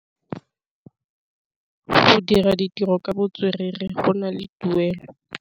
Go dira ditirô ka botswerere go na le tuelô.